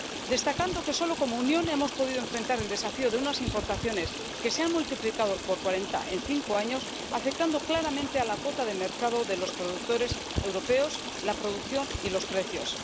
destacando que, solo como Unión, hemos podido enfrentar el desafío de unas importaciones que se han multiplicado por cuarenta en cinco años, lo que ha afectado claramente a la cuota de mercado de los productores europeos, la producción y los precios.